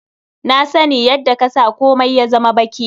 Na sani yadda ka sa komia ya zama baki.